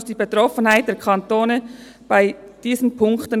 «… muss die Betroffenheit der Kantone bei diesen […